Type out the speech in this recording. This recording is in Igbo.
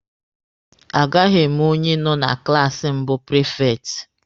A gaghị eme onye nọ na klaasi mbụ prifekti.